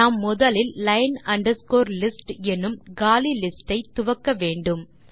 நாம் முதலில் line underscore list என்னும் காலி லிஸ்ட் ஐ துவக்க வேண்டும்